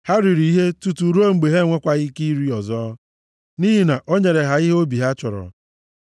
Ha riri ihe tutu ruo mgbe ha enwekwaghị ike iri ọzọ, nʼihi na o nyere ha ihe obi ha chọrọ.